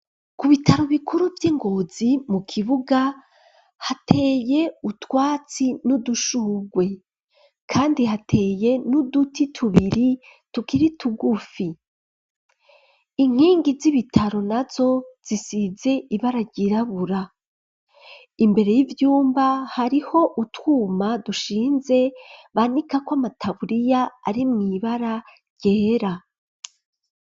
Ku bitaro bikuru vy'ingozi mu kibuga hateye utwatsi n'udushugwe kandi hateye n'uduti tubiri tukiri tugufi, inkingi z'ibitaro nazo zisize ibara ryirabura imbere y'ivyumba hariho utwuma dushinze banikako, amataburiya arimwo ibara ryera.